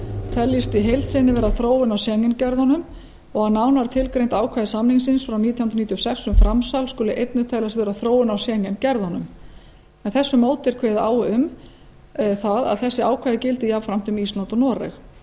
teljist í heild sinni vera þróun að schengen gjörðunum og er nánar tilgreind ákvæði samningsins frá nítján hundruð níutíu og sex um framsal skuli einnig teljast vera þróun á schengen gerðunum með þessu móti er kveðið á um að að þessi ákvæði gildi jafnframt um íslands og noreg